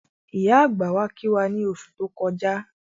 Ìyá àgbà wá kí wá ní oṣù tó kọjá